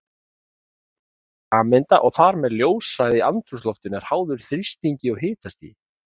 Þéttleiki sameinda og þar með ljóshraði í andrúmsloftinu er háður þrýstingi og hitastigi.